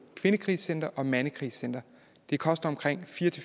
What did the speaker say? kvindekrisecentre og mandekrisecentre det koster fire